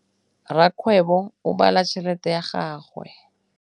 Rakgwêbô o bala tšheletê ya gagwe.